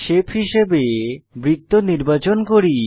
shape হিসাবে বৃত্ত নির্বাচন করুন